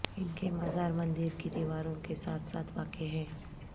ان کے مزار مندر کی دیواروں کے ساتھ ساتھ واقع ہیں